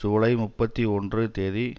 ஜூலை முப்பத்தி ஒன்று தேதி